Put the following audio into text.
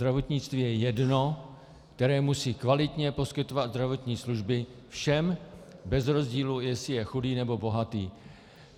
Zdravotnictví je jedno, které musí kvalitně poskytovat zdravotní služby všem bez rozdílu, jestli je chudý, nebo bohatý.